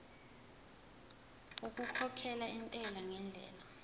okukhokhela intela ngendlela